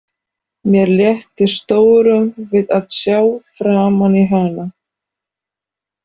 Mér létti stórum við að sjá framan í hana.